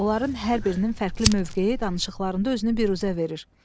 Onların hər birinin fərqli mövqeyi danışıqlarında özünü büruzə verir.